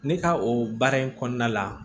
Ne ka o baara in kɔnɔna la